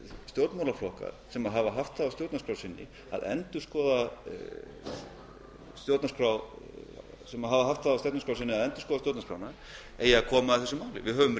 stjórnmálaflokkar sem hafa haft það á stjórnarskrá sinni að endurskoða stjórnarskrána eigi að koma að þessu máli við höfum